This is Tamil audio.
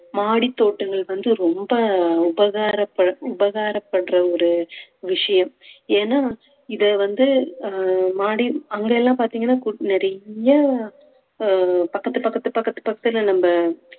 மாடித் தோட்டங்கள் வந்து ரொம்ப உபகார பண்~ உபகாரம் பண்ற ஒரு விஷயம் ஏன்னா இத வந்து அஹ் மாடி அங்கெல்லாம் பார்த்தீங்கன்னா நிறைய அஹ் பக்கத்து பக்கத்து பக்கத்து பக்கத்துல நம்ப